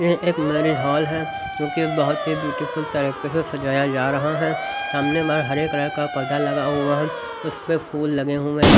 ये एक marriage hall है क्योंकि बहुत ही ब्यूटीफुल तरीके से सजाया जा रहा है सामने बार हरे कलर का पदा लगा हुआ है उस पर फूल लगे हुए हैं।